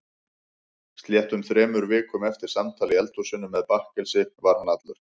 Sléttum þremur vikum eftir samtal í eldhúsinu með bakkelsi var hann allur.